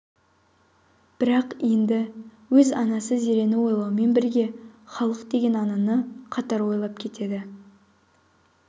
бірақ енді өз анасы зерені ойлаумен бірге халық деген ананы қатар ойлап кетеді